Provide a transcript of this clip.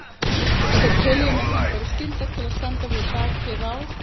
Þau töluðu um að þeim bæri skylda til að standa við bakið á